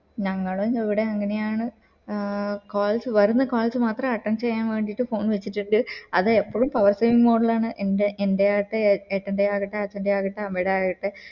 ഞങ്ങളും ഇവിടെ അങ്ങനെയാണ് ആഹ് calls വരുന്ന calls മാത്രം attend വേണ്ടിട്ട് phone വച്ചിട്ടിണ്ട് അത് ഇപ്പോഴും power saving mode ലാണ് എന്റെ എൻ്റെ ആകട്ടെ ഏട്ടൻറെ ആകട്ടെ അച്ഛൻറെ ആകട്ടെ അമ്മേടെ ആകട്ടെ